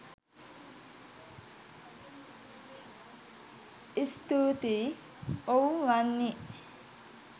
ස්තූතියි ඔව් වන්නි